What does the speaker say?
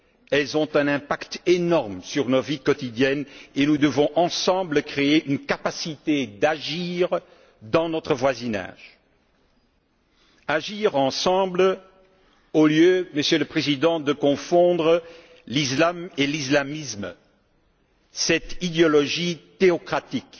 Elles ont un impact énorme sur nos vies quotidiennes et nous devons, ensemble, créer une capacité d'agir dans notre voisinage au lieu, Monsieur le Président, de confondre l'islam et l'islamisme, cette idéologie théocratique.